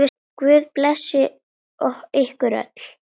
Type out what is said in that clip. Guð blessi ykkur öll.